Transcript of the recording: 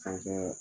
Fɛnkɛ